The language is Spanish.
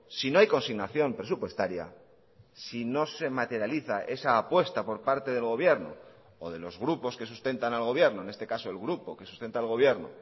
si no hay consignación presupuestaria si no se materializa esa apuesta por parte del gobierno o de los grupos que sustentan al gobierno en este caso el grupo que sustenta al gobierno